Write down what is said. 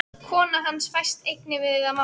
Kona hans fæst einnig við að mála.